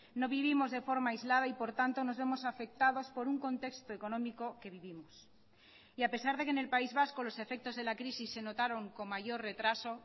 no vivimos de forma aislada y por tanto nos vemos afectados por un contexto económico que vivimos y a pesar de que en el país vasco los efectos de la crisis se notaron con mayor retraso